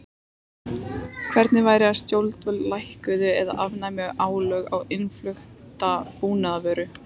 Hvernig væri að stjórnvöld lækkuðu eða afnæmu álögur á innflutta búvöru?